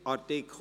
(Art. 57a